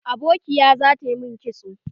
Abokiya za ta yi min kitson